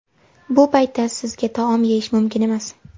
Bu paytda sizga taom yeyish mumkin emas.